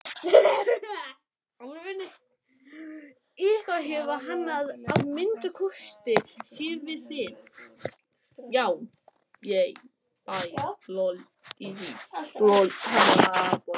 Eitthvað hefur hann að minnsta kosti séð við þig.